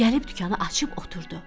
Gəlib dükanı açıb oturdu.